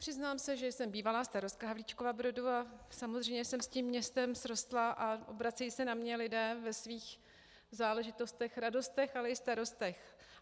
Přiznám se, že jsem bývalá starostka Havlíčkova Brodu, a samozřejmě jsem s tím městem srostlá a obracejí se na mě lidé ve svých záležitostech, radostech, ale i starostech.